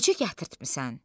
Necə gətirtmisən?